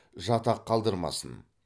жатақ қалдырмасын